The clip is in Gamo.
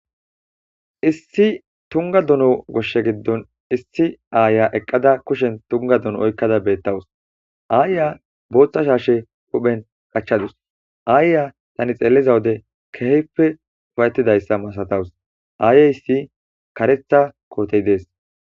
issi tunga duno goshshe giddon issi aaya eqqada kushen tunga dono oykkada beettawus aayya booththa shaashe huphen qachchadus aayya tani xeelliza wode keheppe ufayettidayssa masatawus aayay si karetha kootey dees